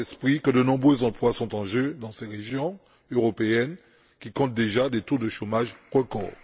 Gardons à l'esprit que de nombreux emplois sont en jeu dans ces régions européennes qui comptent déjà des taux de chômage record.